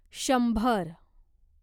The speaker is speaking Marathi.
शंभर